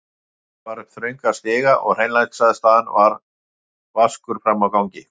Klifra varð upp þrönga stiga og hreinlætisaðstaðan vaskur frammi á gangi.